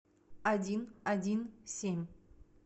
один один семь